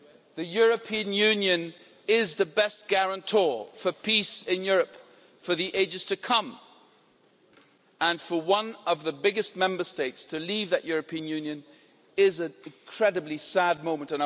The European Union is the best guarantor for peace in Europe for the ages to come, and for one of the biggest Member States to leave that European Union is an incredibly sad moment.